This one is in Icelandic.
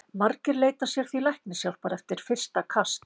Margir leita sér því læknishjálpar eftir fyrsta kast.